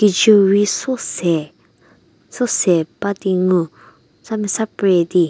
rei so se so se ba di ngu sa mesa pre di.